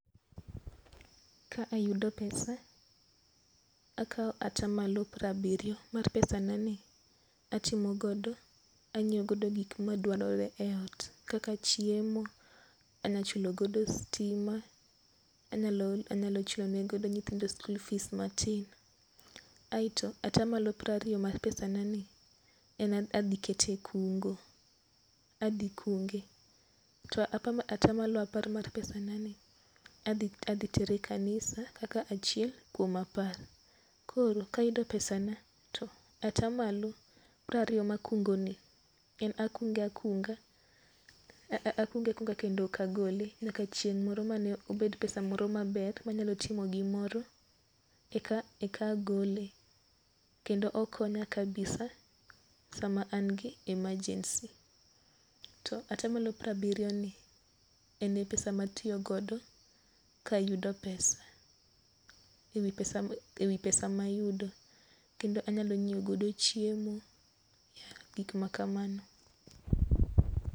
Ka ayudo pesa akaw atamalo piero abiryo mar pesa nani atimogodo ang'iew godo gik madwarore e ot kaka chiemo. Anyachulogodo stim a. Anyalo chulonegodo nyithindo school fees matin. Aito atamalo piero ariyo mar pesanani, en adhi kete e kungo. Adhi kunge. To atamalo apar mar pesa nanai adhi tere e kanisa kaka achiel kuom apar. Koro ka ayudo pesa na to atamalo piero ariyo ma akungo ni, en akunge akunga akunge akunga kendo ok agole nyaka chieng' moro mane obed pesa moro maber ma nyalo timo gimoro eka agole. Kendo okonya kabisa sama an gi emergency. To atamalo piero abiryo ni, en e pesa matiyogodo ka ayudo pesa e wi pesa mayudo. Kendo anyalo nyiew godo chiemo. Gik makamano.